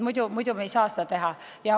Muidu me ei saa seda teha.